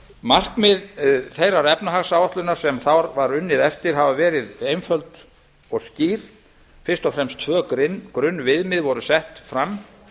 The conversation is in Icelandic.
markmið þeirrar efnahagsáætlunar sem þar var unnið eftir hafa verið einföld og skýr fyrst og fremst tvö grunnviðmið voru sett fram